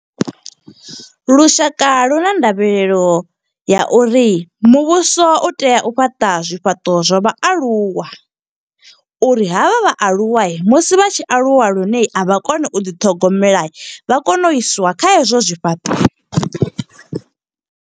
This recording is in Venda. Lushaka lu na ndavhelelo ya uri muvhuso u tea u fhaṱa zwifhaṱo zwa vhaaluwa, uri havha vhaaluwa musi vha tshi aluwa lune avha koni u ḓiṱhogomela. Vha kone u iswa kha hezwo zwifhaṱo.